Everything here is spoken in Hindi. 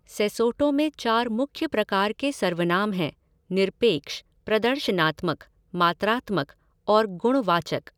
सेसोटो में चार मुख्य प्रकार के सर्वनाम हैं निरपेक्ष, प्रदर्शनात्मक, मात्रात्मक और गुणवाचक।